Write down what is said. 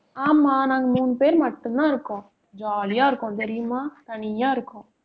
ஆமா நாங்க மூணு பேர் மட்டும்தான் இருக்கோம். jolly ஆ இருக்கோம், தெரியுமா தனியா இருக்கோம்